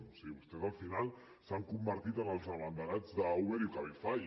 o sigui vostès al final s’han convertit en els abanderats d’uber i cabify